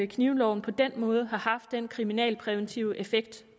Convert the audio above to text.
knivloven på den måde har haft den kriminalpræventive effekt